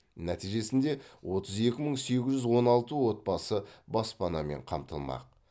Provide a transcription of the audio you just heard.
нәтижесінде отыз екі мың сегіз жүз он алты отбасы баспанамен қамтылмақ